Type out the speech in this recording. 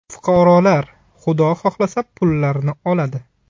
Fuqarolar, Xudo xohlasa, pullarini oladi.